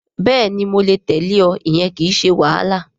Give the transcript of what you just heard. Bẹ́ẹ̀ni mo lè tẹ̀lẹ́ ọ. Ìyẹn kìí ṣe wàhálà